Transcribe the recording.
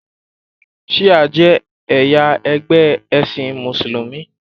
shia je ẹyà ẹgbẹ esin musulumi